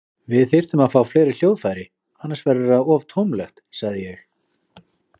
Við þyrftum að fá fleiri hljóðfæri, annars verður það of tómlegt, sagði ég.